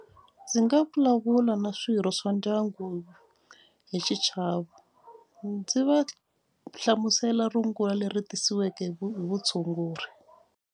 Ndzi nga vulavula na swirho swa ndyangu hi xichavo ndzi va hlamusela rungula leri tirhisiweke hi hi vutshunguri.